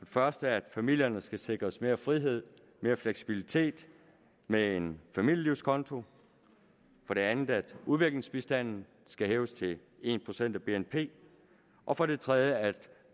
første at familierne skal sikres mere frihed mere fleksibilitet med en familielivskonto for det andet at udviklingsbistanden skal hæves til en procent af bnp og for det tredje at